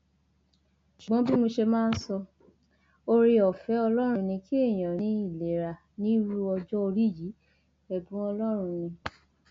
àwọn ológun tí wọn já ìjọba gbà mọ àwọn awolowo lowó ni wọn ba nǹkan jẹ pàápàá fún ilẹ yorùbá